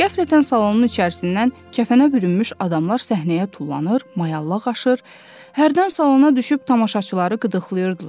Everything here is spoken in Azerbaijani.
Qəflətən salonun içərisindən kəfənə bürünmüş adamlar səhnəyə tullanır, mayallaq aşır, hərdən salona düşüb tamaşaçıları qıdıqlayırdılar.